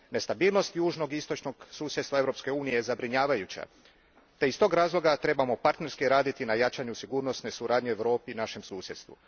Nestabilnost južnog i istočnog susjedstva Europske unije je zabrinjavajuća te iz tog razloga trebamo partnerski raditi na jačanju sigurnosne suradnje u Europi i našem susjedstvu.